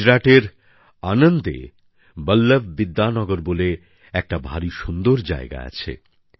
গুজরাটের আনন্দএ বল্লভ বিদ্যানগর বলে একটা ভারী সুন্দর জায়গা আছে